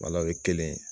o ye kelen ye